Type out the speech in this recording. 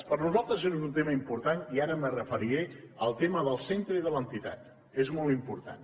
per nosaltres és un tema important i ara m’hi referiré al tema del centre i de l’entitat és molt important